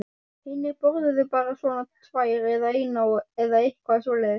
Hinir borðuðu bara svona tvær eða eina eða eitthvað svoleiðis.